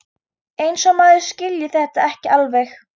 Eins og maður skilji þetta ekki alveg!